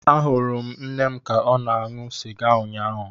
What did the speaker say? Ahụrụ m nne m ka ọ na-aṅụ sịga ụnyaahụ.